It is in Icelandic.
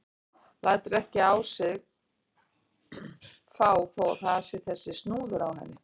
Lætur ekki á sig fá þó að það sé þessi snúður á henni.